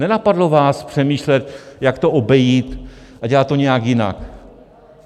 Nenapadlo vás přemýšlet, jak to obejít a dělat to nějak jinak.